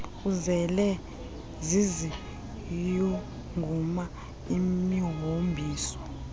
azele ziziyunguma imihombiso